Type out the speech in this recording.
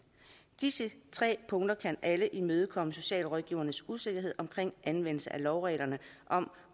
disse tre punkter kan alle imødekomme socialrådgivernes usikkerhed omkring anvendelsen af lovreglerne om